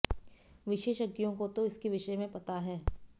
विशेषज्ञों को तो इसके विषय में पता है